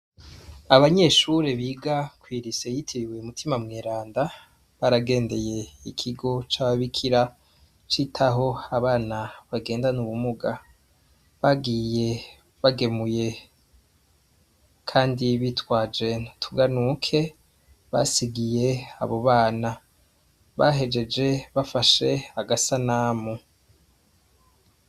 Abanyeshure biga kw'irise yitibiwe imutima mweranda baragendeye ikigo c'ababikira citaho abana bagendane ubumuga bagiye bagemuye, kandi bitwaje tuganuke basigiye abo bana bahejeje bafashe agasa namu.